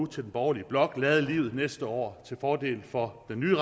til den borgerlige blok nu lade livet næste år til fordel for den nye